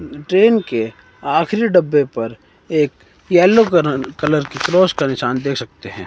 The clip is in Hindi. ट्रेन के आखिरी डब्बे पर एक येलो कनर कलर के क्रॉस का निशान देख सकते हैं।